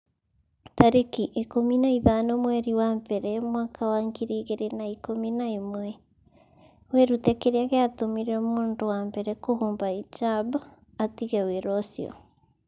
tarĩki ikũmi na ithano mweri wa mbere mwaka wa ngiri igĩrĩ na ikũmi na ĩmweWĩrute kĩrĩa gĩatũmire mũndũ wa mbere kũhumba hijab 'atige wĩra ũcio.